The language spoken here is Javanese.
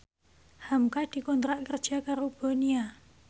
hamka dikontrak kerja karo Bonia